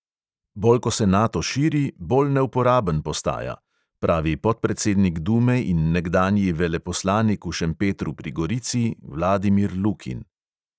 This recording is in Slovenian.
"Bolj ko se nato širi, bolj neuporaben postaja," pravi podpredsednik dume in nekdanji veleposlanik v šempetru pri gorici vladimir lukin.